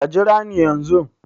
Ka jira ni yanzun